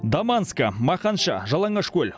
даманскі мақаншы жалаңашкөл